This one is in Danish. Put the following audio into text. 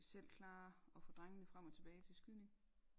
selv klare at få drengene frem og tilbage til skydning